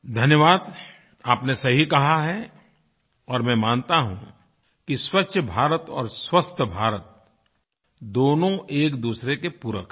धन्यवाद आपने सही कहा है और मैं मानता हूँ कि स्वच्छ भारत और स्वस्थ भारत दोनों एकदूसरे के पूरक हैं